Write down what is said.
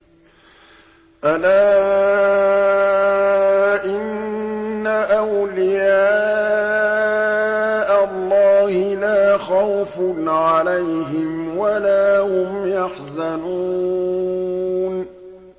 أَلَا إِنَّ أَوْلِيَاءَ اللَّهِ لَا خَوْفٌ عَلَيْهِمْ وَلَا هُمْ يَحْزَنُونَ